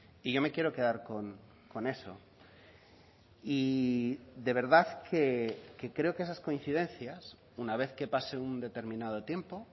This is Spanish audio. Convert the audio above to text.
y yo me quiero quedar con eso y de verdad que creo que esas coincidencias una vez que pase un determinado tiempo